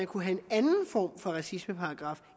kunne have en anden form for racismeparagraf